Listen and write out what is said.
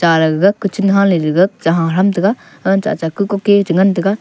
cha le gaga kuchun hale ley gag cha ha tham taga anchai acha ku kuke che ngan taga.